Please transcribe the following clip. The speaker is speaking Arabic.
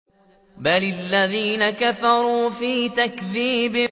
بَلِ الَّذِينَ كَفَرُوا فِي تَكْذِيبٍ